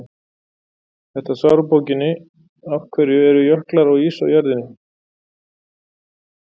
þetta svar er úr bókinni af hverju eru jöklar og ís á jörðinni